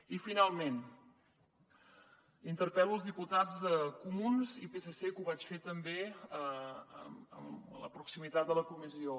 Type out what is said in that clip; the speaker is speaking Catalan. i finalment interpel·lo els diputats de comuns i psc que ho vaig fer també en la proximitat de la comissió